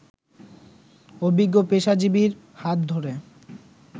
অভিজ্ঞ পেশাজীবীর হাত ধরে